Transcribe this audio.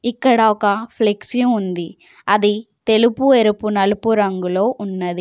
ఇక్కడ ఒక ఫ్లెక్సీ ఉంది. అది తెలుపు ఎరుపు నలుపు రంగులో ఉన్నది.